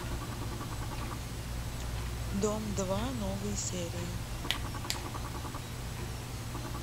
дом два новые серии